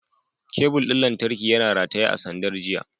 Kebul ɗin lantarki yana rataye a sandar jiya.